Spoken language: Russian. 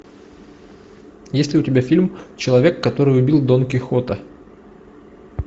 есть ли у тебя фильм человек который убил дон кихота